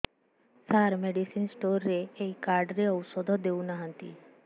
ସାର medicine store ରେ ଏଇ card ରେ ଔଷଧ ଦଉନାହାନ୍ତି